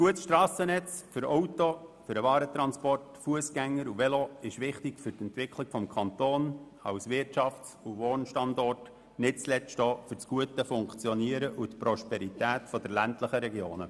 Ein gutes Strassennetz für Autos, den Warentransport, für Fussgänger und Velos ist wichtig für die Entwicklung des Kantons als Wirtschafts- und Wohnstandort und nicht zuletzt auch für das gute Funktionieren und die Prosperität der ländlichen Regionen.